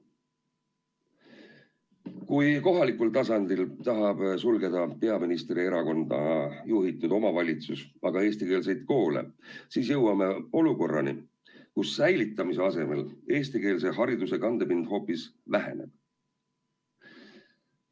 Kui kohalikul tasandil tahab peaministri erakonna juhitud omavalitsus sulgeda aga eestikeelseid koole, siis jõuame olukorrani, kus säilitamise asemel eestikeelse hariduse kandepind hoopis väheneb.